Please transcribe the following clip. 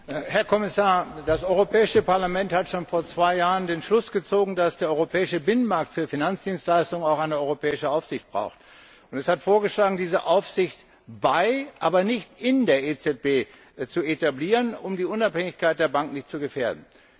Herr Präsident, Herr Kommissar! Das Europäische Parlament hat schon vor zwei Jahren den Schluss gezogen, dass der europäische Binnenmarkt für Finanzdienstleistungen auch eine europäische Aufsicht braucht, und es hat vorgeschlagen, diese Aufsicht bei, aber nicht in der EZB zu etablieren, um die Unabhängigkeit der Bank nicht zu gefährden.